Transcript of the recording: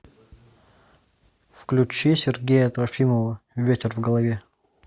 включи сергея трофимова ветер в голове